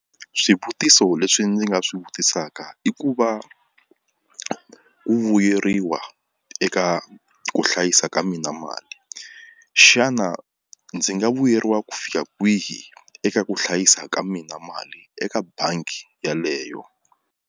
Swivutiso leswi ndzi nga swi vutisaka i ku va ku vuyeriwa eka ku hlayisa ka mina mali xana ndzi nga vuyeriwa ku fika kwihi eka ku hlayisa ka mina mali eka bangi yaleyo.